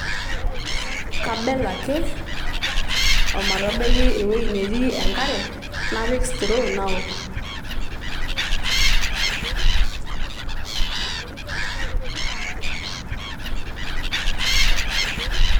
Kabel ake omatabaiki ewuei netii enkare napik straw naok